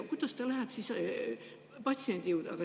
Kuidas ta läheb siis patsiendi juurde?